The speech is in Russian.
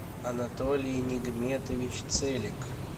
анатолий нигметович целик